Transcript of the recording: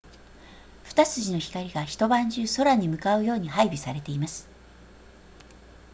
二筋の光が一晩中空に向かうように配備されています